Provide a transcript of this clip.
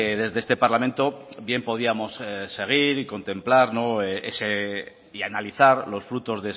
desde este parlamento bien podíamos seguir y contemplar y analizar los frutos